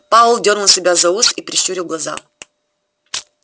пауэлл дёрнул себя за ус и прищурил глаза